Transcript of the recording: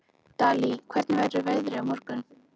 Dalí, hvernig verður veðrið á morgun?